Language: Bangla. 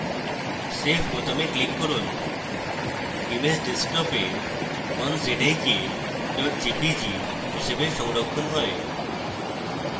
save বোতামে click করুন image ডেস্কটপে 1zik jpg হিসাবে সংরক্ষণ হয়